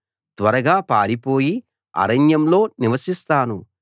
త్వరగా పారిపోయి అరణ్యంలో నివసిస్తాను